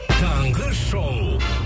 таңғы шоу